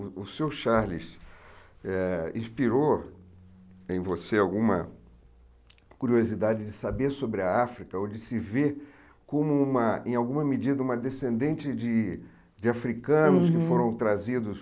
O seu Charles eh inspirou em você alguma curiosidade de saber sobre a África ou de se ver como, uma em alguma medida, uma descendente de de africanos que foram trazidos...